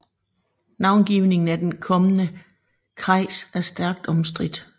Navngivningen af den kommende kreis er stærkt omstridt